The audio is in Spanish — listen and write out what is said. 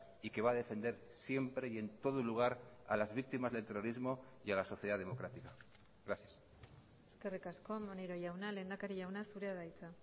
y que va a defender siempre y en todo lugar a las víctimas del terrorismo y a la sociedad democrática gracias eskerrik asko maneiro jauna lehendakari jauna zurea da hitza